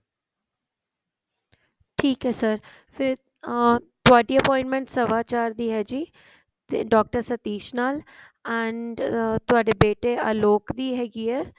ਠੀਕ ਹੈ sir ਫ਼ੇਰ ਅਮ ਤੁਹਾਡੀ appointment ਸਵਾ ਚਾਰ ਦੀ ਹੈ ਜੀ ਤੇ doctor ਸਤੀਸ਼ ਨਾਲ and ਅਮ ਤੁਹਾਡੇ ਬੇਟੇ ਆਲੋਕ ਦੀ ਹੈਗੀ ਹੈ